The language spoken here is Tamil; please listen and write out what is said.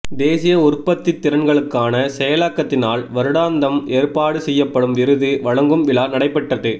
தேசிய உற்பத்தித்திறன்களுக்கான செயலகத்தினால் வருடாந்தம் ஏற்பாடு செய்யப்படும் விருது வழங்கும் விழா நடைபெற்றது